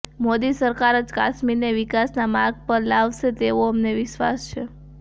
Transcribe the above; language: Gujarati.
મોદી સરકાર જ કાશ્મીરને વિકાસના માર્ગ પર લાવશે તેવો અમને વિશ્વાસ છે